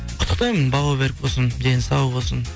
құттықтаймын бауы берік болсын дені сау болсын